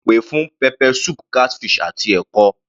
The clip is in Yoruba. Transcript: Mo pè fún pepper soup, catfish àti ẹ̀kọ.